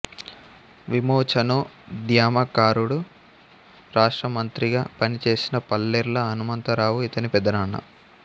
విమోచనోద్యమకారుడు రాష్ట్ర మంత్రిగా పనిచేసిన పల్లెర్ల హనమంతరావు ఇతని పెద్దనాన్న